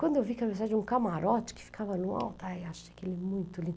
Quando eu vi que era usar de um camarote que ficava no alto, ai acho aquilo muito